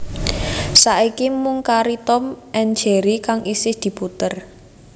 Saiki mung kari Tom and Jerry kang isih diputer